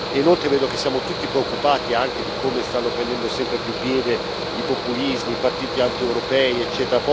Inoltre vedo che siamo tutti preoccupati anche di come stanno prendendo sempre più piede i populismi, i partiti antieuropei, ecc.